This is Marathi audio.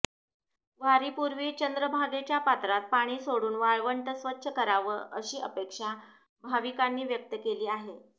वारीपूर्वी चंद्रभागेच्या पात्रात पाणी सोडून वाळवंट स्वच्छ करावं अशी अपेक्षा भाविकांनी व्यक्त केली आहे